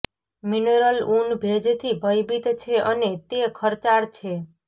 mineral ઊન ભેજથી ભયભીત છે અને તે ખર્ચાળ છે